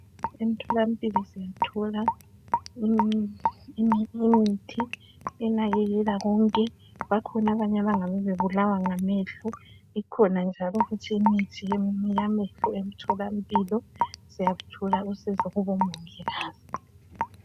Emtholampilo uyathola imithi enakekela konke. Bangabe bekhona njalo, abangabe bebulawa ngamehlo. Ikhona njalo futhi imithi yamehlo emtholampilo. Uyaluthola usizo kubomongikazi.